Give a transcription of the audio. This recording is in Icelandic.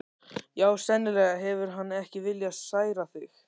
Já, sennilega hefur hann ekki viljað særa þig.